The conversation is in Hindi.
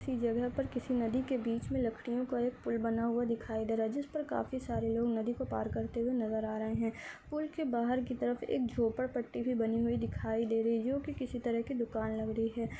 उसी जगह पर किसी नदी के बीच में लड़कियों का एक पूल बना हुआ दिखाई दे रहा है जिस पर काफ़ी सारे लोग नदी को पार करते हुए नज़र आ रहे है पूल के बाहर की तरफ एक झोपड़ पट्टी भी बनाई दिखाई दे रही है जो की किसी तरफ की दुकान लग रही है।